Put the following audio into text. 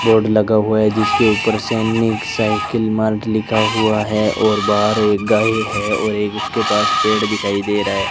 Board लगा हुआ है जिसके ऊपर सैनिक साइकिल मार्ट लिखा हुआ है और बाहर एक गाय है और एक उसके पास पेड़ दिखाई दे रहा है।